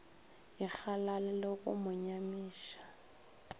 ikgalale le go mo nyamiša